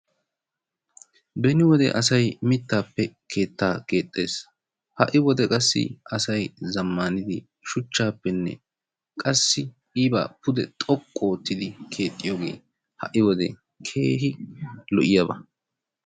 Beni wode asay mittaappe keettaa keexxxees, ha'i wode qassi asay zammaanidi shuchaappenne qassi keehi xoqqu oottidi keexxiyogee ha''i wode keehi lo''iyaba.